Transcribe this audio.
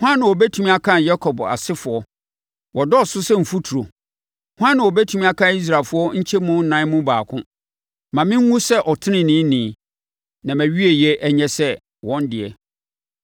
Hwan na ɔbɛtumi akan Yakob asefoɔ, wɔdɔɔso sɛ mfuturo? Hwan na ɔbɛtumi akan Israelfoɔ nkyɛmu ɛnan mu baako? Ma menwu sɛ ɔteneneeni; na mawieɛ nyɛ sɛ wɔn deɛ.”